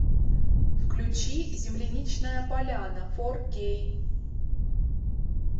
включи земляничная поляна фор кей